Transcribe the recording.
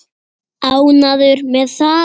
Ánægður með það?